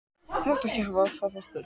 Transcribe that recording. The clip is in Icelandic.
Þú mátt ekki hafa það af okkur